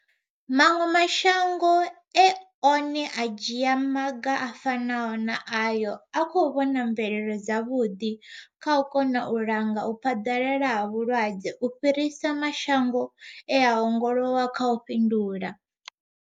Maṅwe mashango e na one a dzhia maga a fanaho na ayo a khou vhona mvelelo dza vhuḓi kha u kona u langa u phaḓalala ha vhulwadze u fhirisa mashango e a ongolowa kha u fhindula.